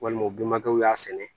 Walima u benbakɛw y'a sɛnɛ